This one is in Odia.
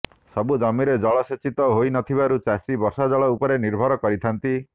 ସବୁ ଜମିରେ ଜଳସେଚିତ ହୋଇନଥିବାରୁ ଚାଷୀ ବର୍ଷା ଜଳ ଉପରେ ନିର୍ଭର କରିଥାନ୍ତି